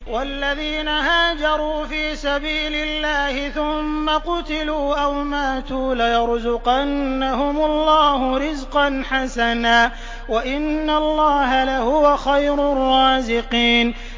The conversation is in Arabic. وَالَّذِينَ هَاجَرُوا فِي سَبِيلِ اللَّهِ ثُمَّ قُتِلُوا أَوْ مَاتُوا لَيَرْزُقَنَّهُمُ اللَّهُ رِزْقًا حَسَنًا ۚ وَإِنَّ اللَّهَ لَهُوَ خَيْرُ الرَّازِقِينَ